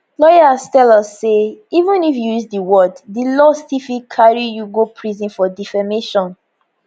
lawyers tell us say even if you use di word di law still fit carry you go prison for defamation